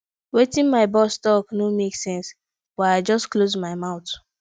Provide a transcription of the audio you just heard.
wetin my boss talk no make sense but i just close my mouth